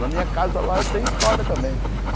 Na minha casa lá tem história também.